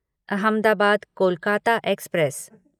Ahmedabad Kolkata express